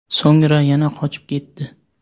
So‘ngra yana qochib ketdi.